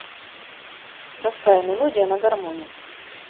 простая мелодия на гармони